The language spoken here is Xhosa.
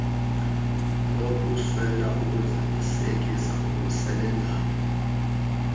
nokuswela ukuzalisekisa okusebenzayo